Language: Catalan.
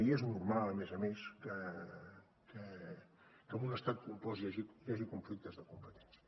i és normal a més a més que en un estat compost hi hagi conflictes de competència